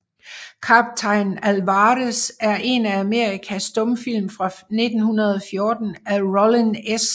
Kaptajn Alvarez er en amerikansk stumfilm fra 1914 af Rollin S